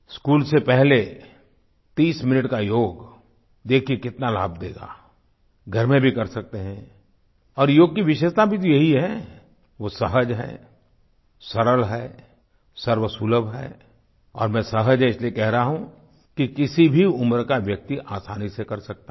school से पहले 30 minute का योग देखिए कितना लाभ देगा घर में भी कर सकते हैं और योग की विशेषता भी तो यही है वो सहज है सरल है सर्वसुलभ है और मैं सहज है इसलिए कह रहा हूँ कि किसी भी उम्र का व्यक्ति आसानी से कर सकता है